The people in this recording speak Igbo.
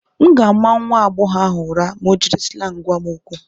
M ga-ama nwa agbọghọ ahụ ụra ma o jiri slangị gwa m okwu.